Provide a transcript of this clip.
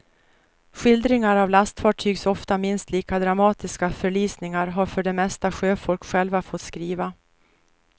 Skildringar av lastfartygs ofta minst lika dramatiska förlisningar har för det mesta sjöfolk själva fått skriva.